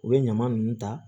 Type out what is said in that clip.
U bɛ ɲama ninnu ta